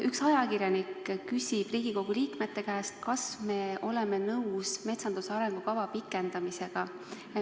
Üks ajakirjanik küsib Riigikogu liikmete käest, kas me oleme nõus metsanduse arengukava pikendamisega.